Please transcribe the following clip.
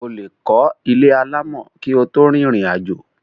o lè kọ́ ilé alámọ̀ kí o tó rìnrìn àjò.